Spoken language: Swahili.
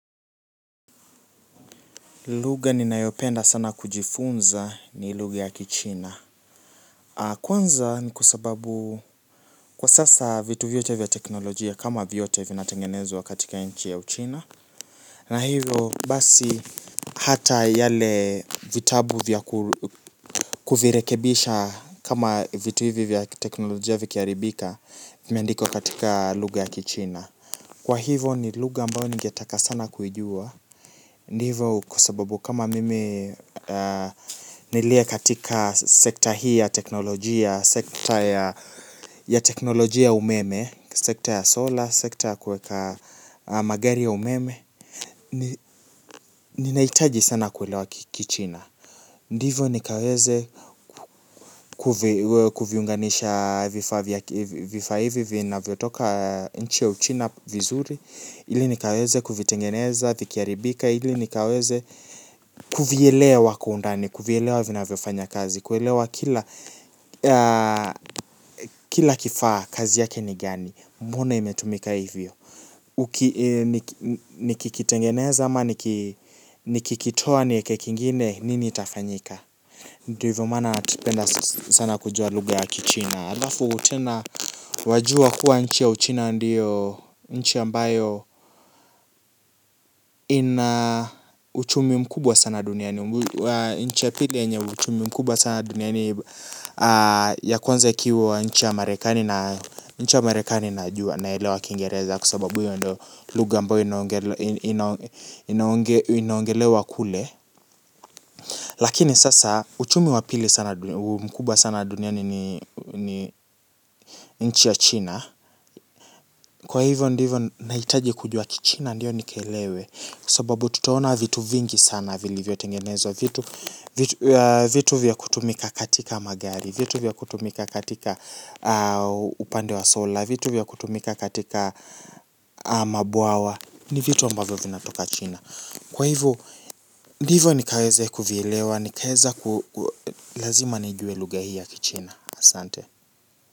Lugha ninayopenda sana kujifunza ni lugha ya kichina. Kwanza ni kwa sababu kwa sasa vitu vyote vya teknolojia kama vyote vinatengenezwa katika nchi ya uchina. Na hivyo basi hata yale vitabu vya kuvirekebisha kama vitu hivyo vya teknolojia vikiharibika vimeandikwa katika lugha ya kichina. Kwa hivyo ni lugha ambayo ningetaka sana kuijua, ndivo kwa sababu kama mimi nilie katika sekta hii ya teknolojia, sekta ya teknolojia umeme, sekta ya solar, sekta ya kuweka magari ya umeme, ninahitaji sana kuelewa kichina. Ndivo nikaweze kuviunganisha vifaa hivi vinavyotoka nchi ya uchina vizuri, ili nikaweze kuvitengeneza, vikiharibika, ili nikaweze kuvielewa kwa undani, kuvielewa vinavyofanya kazi, kuelewa kila kifaa kazi yake ni gani, mbona imetumika hivyo. Nikikitengeneza ama nikikitoa nieke kingine, nini itafanyika? Ndivyo maana napenda sana kujua lugha ya kichina. Halafu tena wajua kuwa nchi ya uchina ndiyo nchi ambayo ina uchumi mkubwa sana duniani. Nchi ya pili yenye uchumi mkubwa sana duniani ya kwanze ikiwa nchi ya marekani na nchi ya marekani najua naelewa kingereza kwa sababu hiyo ndio lugha ambayo inaongelewa kule. Lakini sasa uchumi wa pili sana mkubwa sana duniani ni nchi ya China. Kwa hivyo ndivyo nahitaji kujua kichina ndiyo nikielewe. Kwa sababu tutaona vitu vingi sana vilivyotengenezwa. Vitu vya kutumika katika magari. Vitu vya kutumika katika upande wa sola. Vitu vya kutumika katika mabwawa. Ni vitu ambavyo vinatoka China. Kwa hivo ndivo nikaweze kuvielewa. Nikaeza lazima nijue lugha hii ya kichina asante.